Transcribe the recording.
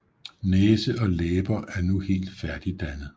Næse og læber er nu helt færdigdannet